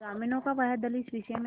ग्रामीणों का वह दल इस विषय में